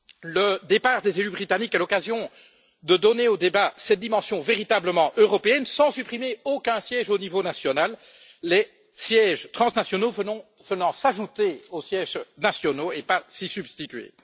Le départ des élus britanniques est l'occasion de donner au débat cette dimension véritablement européenne sans supprimer de sièges au niveau national, les sièges transnationaux venant s'ajouter aux sièges nationaux et non s'y substituer.